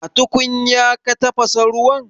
A tukunya ka tafasa ruwan?